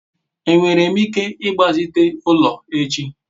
enwere m ike igbazite ulo echi?